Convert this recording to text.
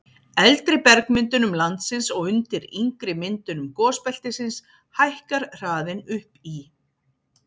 eldri bergmyndunum landsins og undir yngri myndunum gosbeltisins hækkar hraðinn upp í